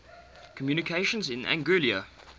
communications in anguilla